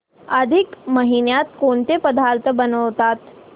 अधिक महिन्यात कोणते पदार्थ बनवतात